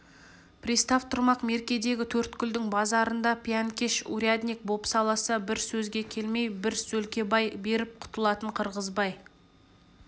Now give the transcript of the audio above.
пристав тұрмақ меркедегі төрткүлдің базарында пиянкеш урядник бопсаласа бір сөзге келмей бір сөлкебай беріп құтылатын қырғызбай